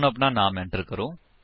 ਹੁਣ ਆਪਣਾ ਨਾਮ ਟਾਈਪ ਕਰੋ